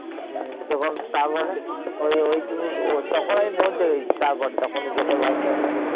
তখন তারপরে ওই ওই তুমি তখন আমি পৌঁছে গেছি তারপরে তখন Gate এ